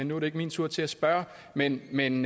nu er det ikke min tur til at spørge men men